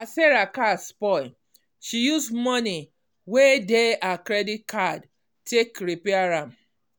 as sarah car spoil she use moni wey dey her credit card take repair am.